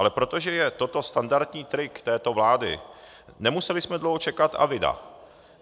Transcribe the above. Ale protože je toto standardní trik této vlády, nemuseli jsme dlouho čekat - a vida.